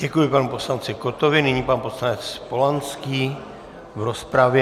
Děkuji panu poslanci Kottovi, nyní pan poslanec Polanský v rozpravě.